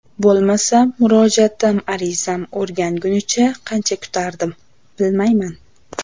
Bo‘lmasa murojaatim arizam o‘rgangunicha qancha kutardim, bilmayman.